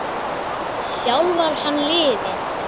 Þjálfar hann liðið?